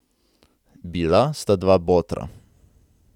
Bila sta dva botra.